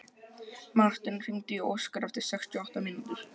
Marten, hringdu í Óskar eftir sextíu og átta mínútur.